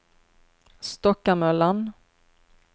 Stockamöllan